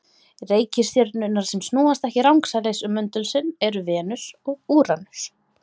Reikistjörnurnar sem snúast ekki rangsælis um möndul sinn eru Venus og Úranus.